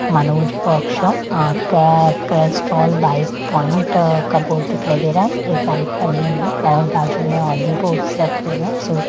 Manoj workshop केए Castrol bike point का board दिखाई दे रहा है एक बाइक बनी हुई है और बाजू में और भी बोर्डस रखे हुए हैं सो --